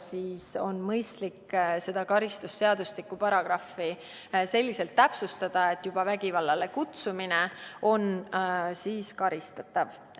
Seega on mõistlik kõnealust karistusseadustiku paragrahvi täpsustada, et vägivallale üles kutsumine oleks karistatav.